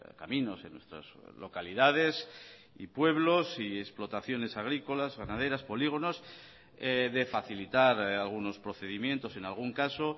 caminos en nuestras localidades y pueblos y explotaciones agrícolas ganaderas polígonos de facilitar algunos procedimientos en algún caso